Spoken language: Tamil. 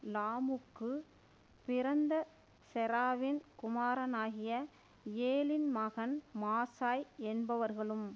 லாமுக்குப் பிறந்த செராவின் குமாரனாகிய யேலின் மகன் மாசாய் என்பவர்களும்